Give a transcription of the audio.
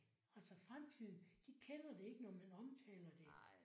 Altså fremtiden de kender det ikke når man omtaler det